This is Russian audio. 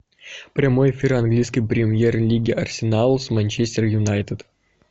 прямой эфир английской премьер лиги арсенал с манчестер юнайтед